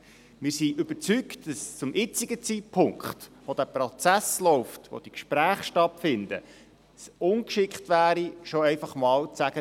Wir sind überzeugt, dass es zum jetzigen Zeitpunkt, wo der Prozess läuft, wo die Gespräche stattfinden, ungeschickt wäre, einfach schon zu sagen: